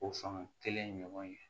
O fanga kelen ɲɔgɔn ye